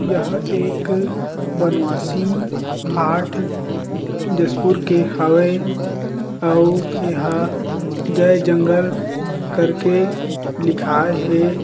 यह एक बनवासी हार्ट डिशपुर के हावे अऊ ए हा जय जंगल करके लिखाए हें।